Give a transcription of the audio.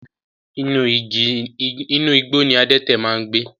Inú igbó ní adẹ́tẹ̀ ń gbẹ